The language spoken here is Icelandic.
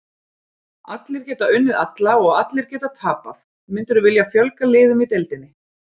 Allir geta unnið alla og allir geta tapað Myndirðu vilja fjölga liðum í deildinni?